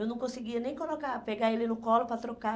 Eu não conseguia nem colocar, pegar ele no colo para trocar.